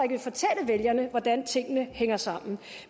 vil fortælle vælgerne hvordan tingene hænger sammen